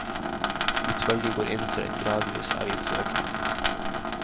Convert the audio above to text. Utvalget går inn for en gradvis avgiftsøkning.